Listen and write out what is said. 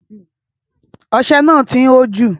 Ọsẹ náà ti ń hó jù.